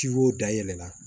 Ci wo dayɛlɛ la